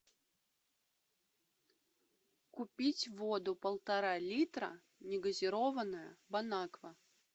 купить воду полтора литра негазированная бонаква